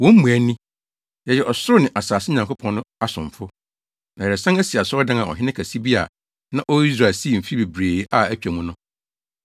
Wɔn mmuae ni: “Yɛyɛ ɔsorosoro ne asase Nyankopɔn no asomfo, na yɛresan asi asɔredan a ɔhene kɛse bi a na ɔwɔ Israel sii mfe bebree a atwa mu no.